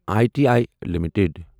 I T I limited